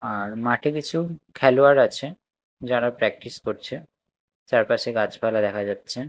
আর মাঠে কিছু খেলোয়াড় আছে যারা প্র্যাকটিস করছে চারপাশে গাছপালা দেখা যাচ্ছে।